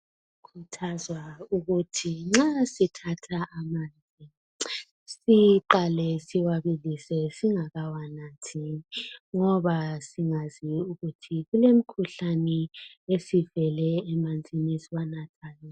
Kukhuthazwa ukuthi nxa sithatha amanzi siqale siwabilise singakawanathi ngoba singazi ukuthi kulemikhuhlane esivele emanzini esiwanathayo.